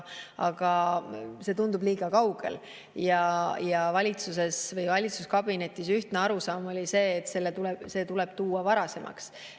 Aga see tundub liiga kaugel ja valitsuskabinetis oli ühtne arusaam, et see tuleb tuua varasemaks.